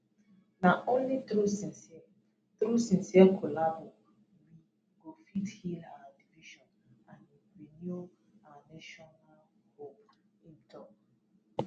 na only through sincere through sincere collabo we go fit heal our divisions and renew our